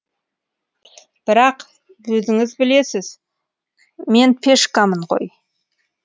бірақ өзіңіз білесіз мен пешкамын ғой